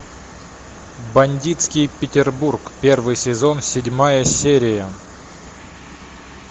бандитский петербург первый сезон седьмая серия